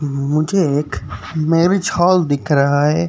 मुझे एक marriage hall दिख रहा है।